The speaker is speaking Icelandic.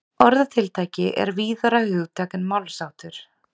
orðatiltæki er víðara hugtak en málsháttur